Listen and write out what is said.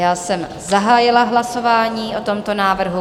Já jsem zahájila hlasování o tomto návrhu.